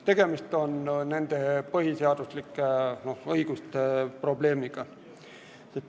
Tegemist on nende põhiseaduslike õigustega.